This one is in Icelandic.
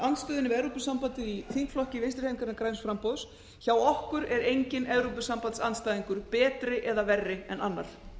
andstöðunni við evrópusambandið í þingflokki vinstri hreyfingarinnar græns framboðs hjá okkur er enginn evrópusambandsandstæðingur betri eða verri en annar